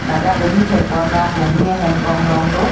ladak eli thek ponlong humni ahem konglong do.